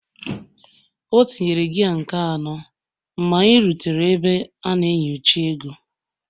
Ọ tinyere gia nke anọ mgbe anyị rutere ebe a na-enyocha ego